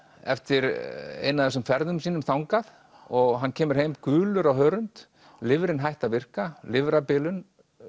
eftir eina af þessum ferðum sínum þangað og hann kemur heim gulur á hörund lifrin hætt að virka lifrarbilun